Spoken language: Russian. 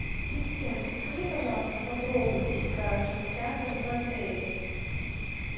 ассистент расскажи пожалуйста подробности про кинотеатр в отеле